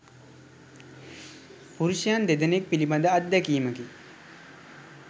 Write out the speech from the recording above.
පුරුෂයන් දෙදෙනෙක් පිළිබඳ අත්දැකීමකි